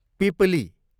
पिपली